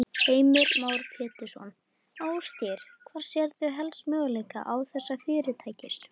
Heimir Már Pétursson: Ásgeir, hvar sérðu helst möguleika þessa fyrirtækis?